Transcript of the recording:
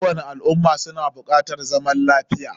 Kowani al umma suna bukatar zaman lafiya